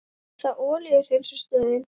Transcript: Er það olíuhreinsunarstöðin?